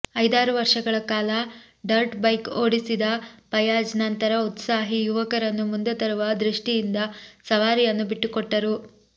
ಐದಾರು ವರ್ಷಗಳ ಕಾಲ ಡರ್ಟ್ ಬೈಕ್ ಓಡಿಸಿದ ಫಯಾಜ್ ನಂತರ ಉತ್ಸಾಹಿ ಯುವಕರನ್ನು ಮುಂದೆ ತರುವ ದೃಷ್ಟಿಯಿಂದ ಸವಾರಿಯನ್ನು ಬಿಟ್ಟುಕೊಟ್ಟರು